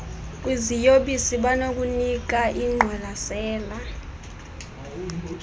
kwiziyobisi banokunika ingqwalasela